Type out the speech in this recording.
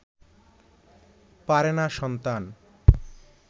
পারে না সন্তান